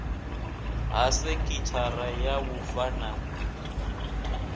ha sekhithara ya vhufa ya